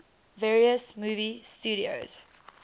various movie studios